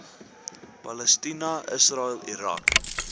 palestina israel irak